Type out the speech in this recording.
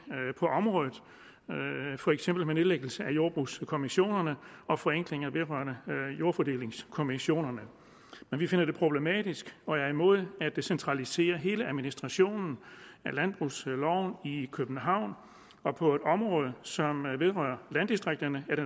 på området for eksempel nedlæggelse af jordbrugskommissionerne og forenklinger vedrørende jordfordelingskommissionerne men vi finder det problematisk og er imod at centralisere hele administrationen af landbrugsloven i københavn og på et område som vedrører landdistrikterne er det